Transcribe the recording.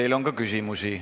Teile on ka küsimusi.